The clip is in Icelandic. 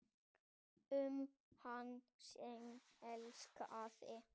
Um hann sem elskaði.